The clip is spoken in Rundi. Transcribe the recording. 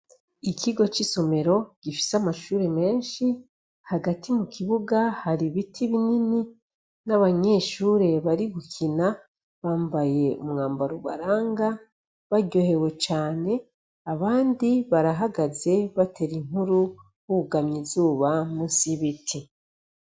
Ikigo c'isomero gifise amashuri menshi, hagati mu kibuga hari ibiti binini n'abanyeshuri bari gukina, bambaye umwambaro ubaranga baryohewe cane, abandi barahagaze batera inkuru bugamye izuba munsi y' ibiti.